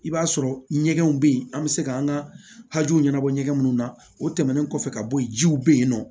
I b'a sɔrɔ ɲɛgɛnw bɛ yen an bɛ se k'an ka hakɛw ɲɛnabɔ ɲɛgɛn minnu na o tɛmɛnnen kɔfɛ ka bɔ ye jiw bɛ yen nɔ